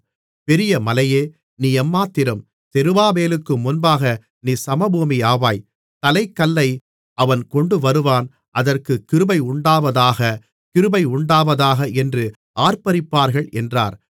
பெரிய மலையே நீ எம்மாத்திரம் செருபாபேலுக்கு முன்பாக நீ சமபூமியாவாய் தலைக்கல்லை அவன் கொண்டுவருவான் அதற்குக் கிருபையுண்டாவதாக கிருபையுண்டாவதாக என்று ஆர்ப்பரிப்பார்கள் என்றார்